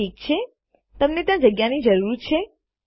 ઠીક છે તમને ત્યાં જગ્યાની જરૂર છે